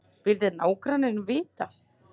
vildi nágranninn vita.